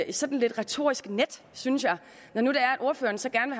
et sådan lidt retorisk net synes jeg når nu ordføreren så gerne